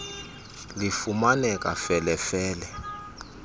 lifumaneka fele fele